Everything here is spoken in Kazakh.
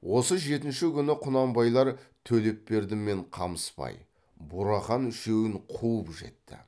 осы жетінші күні құнанбайлар төлепберді мен қамысбай бурахан үшеуін қуып жетті